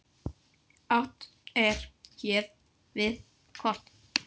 Átt er hér við kort.